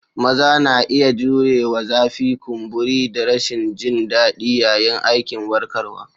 Maza na iya jurewa zafi, kumburi, da rashin jin daɗi yayin aikin warkarwa.